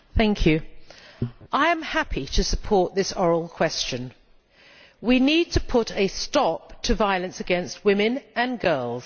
Mr President, I am happy to support this oral question. We need to put a stop to violence against women and girls.